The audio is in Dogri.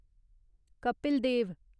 कपिल देव